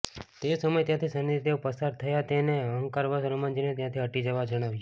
તે સમય ત્યાંથી શનિદેવ પસાર થયાં અને તેમણે અહંકારવશ હનુમાનજીને ત્યાંથી હટી જવા જણાવ્યુ